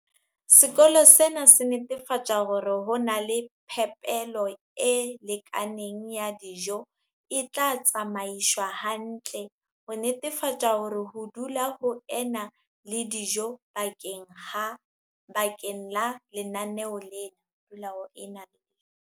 Sekolo sena se netefatsa hore ho na le phepelo e lekaneng ya dijo e tla tsamaiswa hantle, ho netefatsa hore ho dula ho ena le dijo bakeng la lenaneo lena.